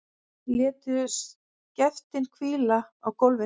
Létu skeftin hvíla á gólfinu.